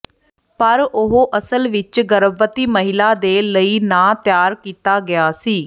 ਪਰ ਉਹ ਅਸਲ ਵਿੱਚ ਗਰਭਵਤੀ ਮਹਿਲਾ ਦੇ ਲਈ ਨਾ ਤਿਆਰ ਕੀਤਾ ਗਿਆ ਸੀ